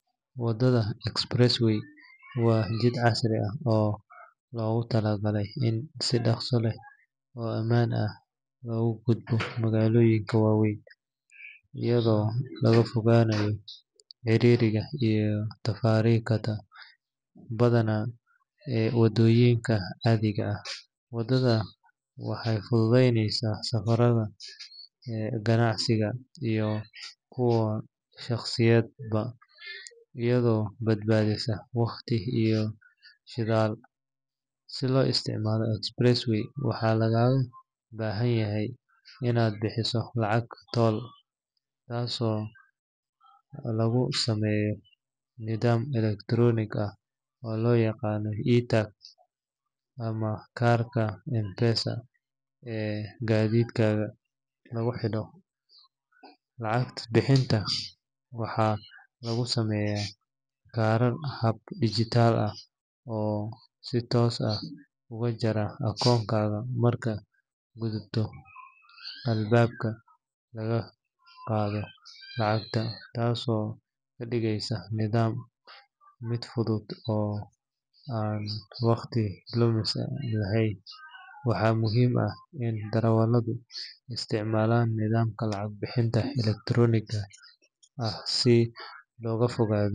Wadada express way waa jid casri ah oo loogu talagalay in si dhaqso leh oo ammaan ah looga gudbo magaalooyinka waaweyn, iyadoo laga fogaanayo ciriiriga iyo taraafikada badan ee waddooyinka caadiga ah. Wadadan waxay fududeyneysaa safarada ganacsiga iyo kuwa shaqsiyadeedba, iyadoo badbaadisa waqti iyo shidaal. Si loo isticmaalo express way, waxaa lagaaga baahan yahay inaad bixiso lacag toll taasoo lagu sameeyo nidaam elektaroonik ah oo loo yaqaan e-tag ama kaarka M-pesa ee gaadhigaaga lagu xidho. Lacag bixinta waxaa lagu sameyn karaa hab dhijitaal ah oo si toos ah uga jara akoonkaaga markaad gudubto albaabka laga qaado lacagta, taasoo ka dhigaysa nidaamka mid fudud oo aan wakhti lumis lahayn. Waxaa muhiim ah in darawalladu isticmaalaan nidaamka lacag bixinta elektarooniga ah si looga fogaado.